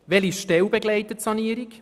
Welche Stelle begleitet die Sanierung?